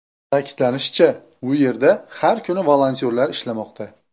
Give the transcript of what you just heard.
Ta’kidlanishicha, u yerda har kuni volontyorlar ishlamoqda.